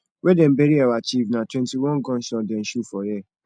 wen dem bury our chief na twentyone gun shots dem shoot for air